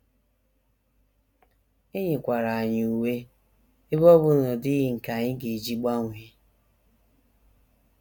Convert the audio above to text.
E nyekwara anyị uwe, ebe ọ bụ na ọ dịghị nke anyị ga - eji gbanwee.